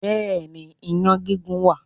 Bẹ́ẹ̀ ni, iyán gígún wà.